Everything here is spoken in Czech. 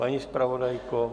Paní zpravodajko?